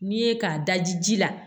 N'i ye k'a daji ji la